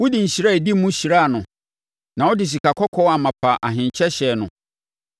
Wode nhyira a ɛdi mu hyiaa no na wode sikakɔkɔɔ amapa ahenkyɛ hyɛɛ no.